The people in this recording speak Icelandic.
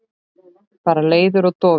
Bara leiður og dofinn.